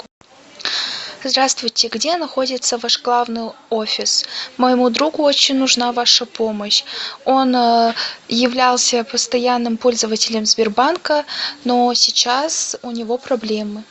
здравствуйте где находится ваш главный офис моему другу очень нужна ваша помощь он являлся постоянным пользователем сбербанка но сейчас у него проблемы